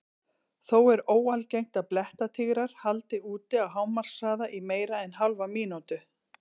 Þó er óalgengt að blettatígrar haldi út á hámarkshraða í meira en hálfa mínútu.